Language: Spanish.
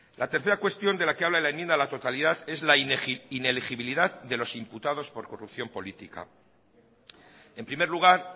la tercera cuestión de la que habla la enmienda a la totalidad es la inelegibilidad de los imputados por corrupción política en primer lugar